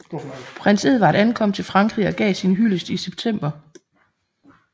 Prins Edvard ankom til Frankrig og gav sin hyldest i september